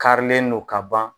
Karilen non ka ban